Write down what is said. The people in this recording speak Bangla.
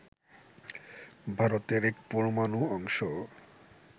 ভারতের এক পরমাণু অংশও